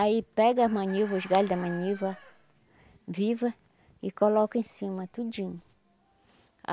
Aí pega as maniva, os galho da maniva, viva, e coloca em cima, tudinho.